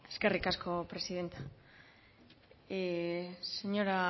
eskerrik asko presidenta señora